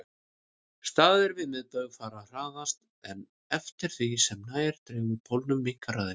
Staðir við miðbaug fara hraðast en eftir því sem nær dregur pólunum minnkar hraðinn.